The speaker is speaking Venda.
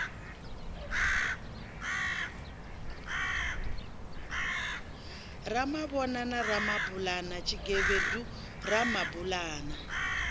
ramavhoya na ramabulana tshigevhedu ramabulana